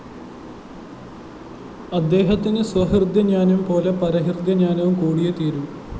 അദ്ദേഹത്തിന് സ്വഹൃദയജ്ഞാനംപോലെ പരഹൃദയജ്ഞാനവും കൂടിയേ തീരൂ